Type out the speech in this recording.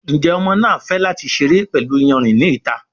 Njé Ọmọ náa fè láti seré pẹlú iyanrìn ní ìta?